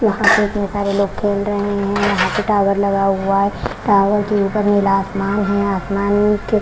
यहां पे कई सारे लोग खेल रहे हैं यहां पे टॉवर लगा हुआ है टॉवर के ऊपर नीला आसमान हैं आसमान के --